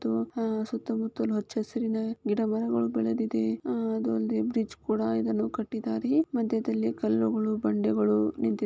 ಇದು ಸುತ್ತ ಮುತ್ತಲು ಹಚ್ಚ ಹಸಿರಿನ ಗಿಡ ಮರಗಳು ಬೆಳೆದಿದೆ ಅಹ್ ಅದು ಅಲ್ದೆ ಬ್ರಿಡ್ಜ್ ಕೂಡ ಅದನ್ನು ಕಟ್ಟಿದ್ದಾರೆ. ಮದ್ಯದಲ್ಲಿ ಕಲ್ಲುಗಳು ಬಂಡೆಗಳು ನಿಂತಿದೆ --